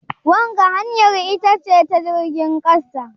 wanga hanyar ita ce ta jirgin kasa?